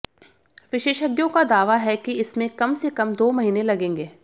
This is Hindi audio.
विशेषज्ञों का दावा है कि इसमें कम से कम दो महीने लगेंगे